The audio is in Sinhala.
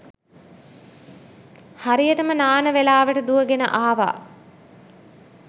හරියටම නාන වෙලාවට දුවගෙන ආවා